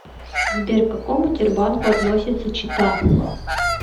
сбер к какому тербанку относится чита